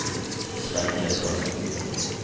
Svenn Gundersen